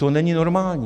To není normální.